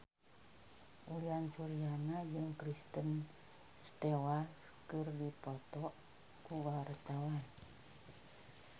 Uyan Suryana jeung Kristen Stewart keur dipoto ku wartawan